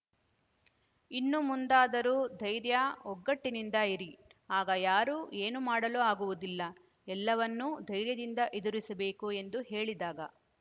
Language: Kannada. ಇನ್ನು ಮುಂದಾದರೂ ಧೈರ್ಯ ಒಗ್ಗಟ್ಟಿನಿಂದ ಇರಿ ಆಗ ಯಾರೂ ಏನೂ ಮಾಡಲು ಆಗುವುದಿಲ್ಲ ಎಲ್ಲವನ್ನೂ ಧೈರ್ಯದಿಂದ ಎದುರಿಸಬೇಕು ಎಂದು ಹೇಳಿದಾಗ